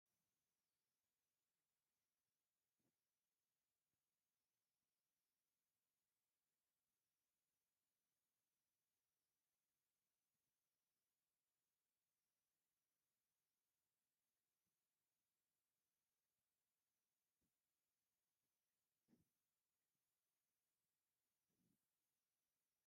እዚ ሓደ ኣባል ሰራዊት ምሉእ ወተሃደራዊ ክዳን ተኸዲኑ ዘርኢ እዩ። ቀጠልያ ናይ መኮነን ዩኒፎርምን ብቱፋ ዝተሸፈነ ክዳንተኸዲኑ ኣሎ። ኣብ ርእሱ ወተሃደራዊ ምልክትን ናይ ክብሪ ምልክትን ዘለዎ ቆቢዕ ተኸዲኑ ኣሎ። እዚ ዓይነት ዕጥቂ እንታይ ዓይነት ተግባር እዩ ዝውክል?